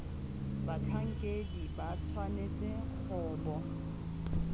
batlhankedi ba tshwanetse go bo